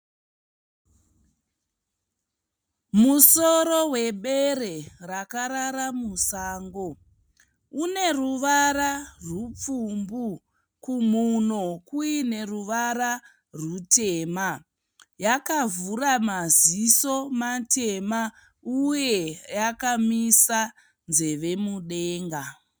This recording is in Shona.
Musoro webere rakarara musango. Une ruvara rupfumbu, kumhuno kuine ruvara rutema. Yakavhura maziso matema uye yakamisa nzeve mudenga.